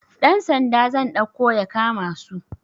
Dan Sanda zan ɗauko ya kama su